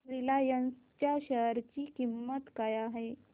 Reliance च्या share ची किंमत काय आहे